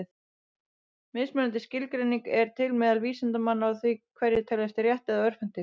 Mismunandi skilgreiningar eru til meðal vísindamanna á því hverjir teljist rétt- eða örvhentir.